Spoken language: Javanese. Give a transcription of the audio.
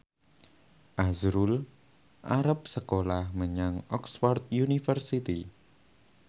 azrul arep sekolah menyang Oxford university